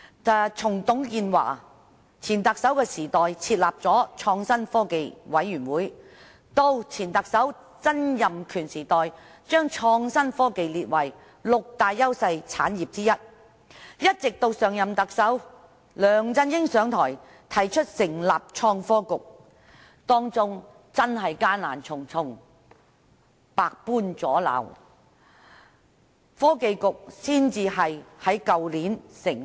首任特首董建華設立了創新科技委員會；前特首曾蔭權將創新科技列為六大優勢產業之一；上任特首梁振英上台後，提出成立創新及科技局，其間真的困難重重，遇到百般阻撓，直至去年，創新及科技局才能成立。